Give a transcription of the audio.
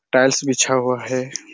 Tiles बिछा हुआ हैं।